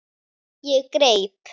Ég greip